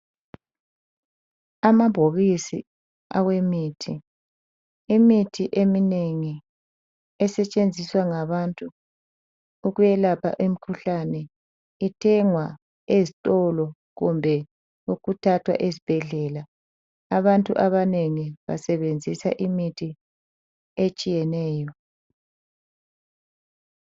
Amabhokisi awemithi. Imithi emeinengi esetshenziswa ngabantu ukwelapha imikhuhlane ithengwa ezitolo kumbe ukuthathwa ezibhedlela. Abantu abanengi basebenzisa imithi etshiyeneyo.